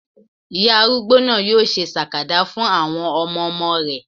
Ìyá arúgbó náà yóò ṣe sàkàdá fún àwọn ọmọmọ rẹ̀